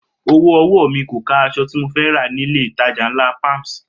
Owó ọwọ́ mi kò ká aṣọ tí mo fẹ́ rà nílé-ìtajà ńlá Palms